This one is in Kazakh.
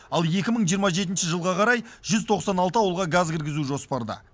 ал екі мың жиырма жетінші жылға қарай жүз тоқсан алты ауылға газ кіргізу жоспарда